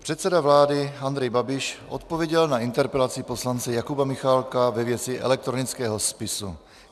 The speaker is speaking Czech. Předseda vlády Andrej Babiš odpověděl na interpelaci poslance Jakuba Michálka ve věci elektronického spisu.